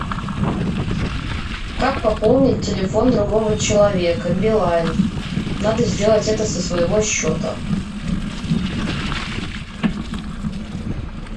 как пополнить телефон другого человека билайн надо сделать это со своего счета